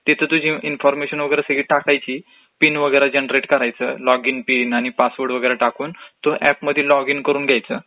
तिथ तुझी इन्फॉर्मेशन टाकायची, पिन वगैरा जनरेट करायचं, लॉग इन बिन आणि पासवर्ड वगेरा टाकून ऍपमध्ये लॉग इन करून घ्यायचं काय,